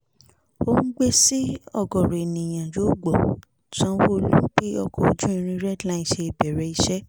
sí ọ̀gọ̀ọ̀rọ̀ ènìyàn yọ̀gbọ̀ sanwó-olu bí ọkọ̀ ojú irin red line ṣe bẹ̀rẹ̀ iṣẹ́